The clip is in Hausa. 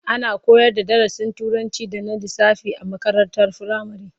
Ana koyarda darasin Turanci da na lissafi a makarantar firamare.